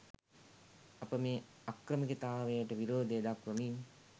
අප මේ අක්‍රමිකතාවයට විරෝධය දක්‌වමින්